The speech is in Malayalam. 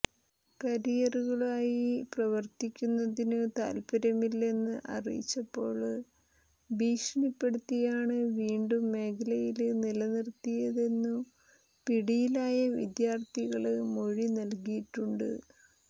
കാരിയറുകളായി പ്രവര്ത്തിക്കുന്നതിനു താല്പര്യമില്ലെന്ന് അറിയിച്ചപ്പോള് ഭീഷണിപ്പെടുത്തിയാണ് വീണ്ടും മേഖലയില് നിലനിര്ത്തിയതെന്നു പിടിയിലായ വിദ്യാര്ഥികള് മൊഴി നല്കിയിട്ടുണ്ട്